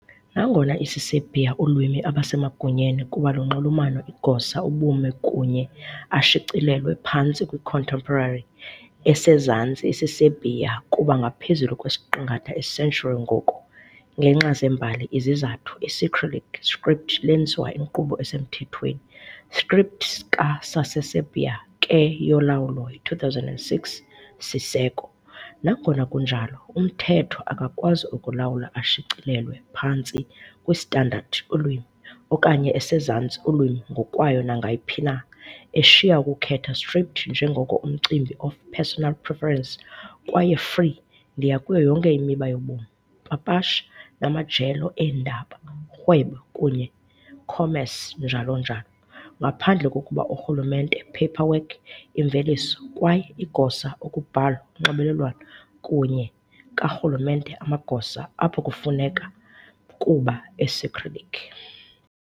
Nangona isiserbia ulwimi abasemagunyeni kuba lunxulumano igosa ubume kunye ashicilelwe phantsi kwi-contemporary Esezantsi isiserbia kuba ngaphezulu kwesiqingatha a century ngoku, ngenxa zembali izizathu, Isicyrillic script lenziwa inkqubo esemthethweni script ka-Saseserbia ke yolawulo yi-2006 - Siseko. nangona Kunjalo, umthetho akakwazi ukulawula ashicilelwe phantsi kwi standard ulwimi, okanye esezantsi ulwimi ngokwayo nangayiphina, eshiya ukukhetha script njengoko umcimbi of personal preference kwaye free ndiya kuyo yonke imiba yobomi, papasha, namajelo eendaba, urhwebo kunye commerce, njalo. njalo. Ngaphandle kokuba urhulumente paperwork imveliso kwaye igosa ukubhalwa unxibelelwano kunye karhulumente amagosa, apho kufuneka kuba Isicyrillic.